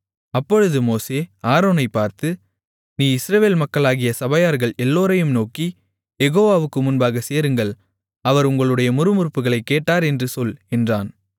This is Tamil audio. அப்பொழுது மோசே ஆரோனைப் பார்த்து நீ இஸ்ரவேல் மக்களாகிய சபையார்கள் எல்லோரையும் நோக்கி யெகோவாவுக்கு முன்பாக சேருங்கள் அவர் உங்களுடைய முறுமுறுப்புகளைக் கேட்டார் என்று சொல் என்றான்